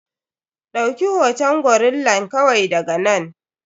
Ɗauki hoton gorillan kawai daga nan.